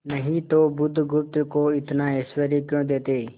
नहीं तो बुधगुप्त को इतना ऐश्वर्य क्यों देते